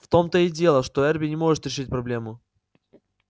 в том-то и дело что эрби не может решить проблему